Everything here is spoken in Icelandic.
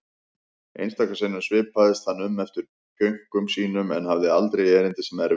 Einstaka sinnum svipaðist hann um eftir pjönkum sínum en hafði aldrei erindi sem erfiði.